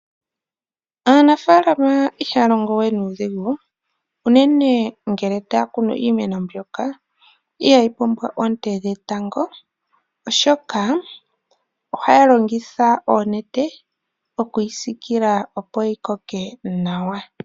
Aanafalama ihaya longo we nuudhigu, unene ngele taya kunu iimeno mbyoka ihayi pumbwa oonte dhetango, oshoka ohaya longitha oonete oku yi sikila opo yi koke nawa.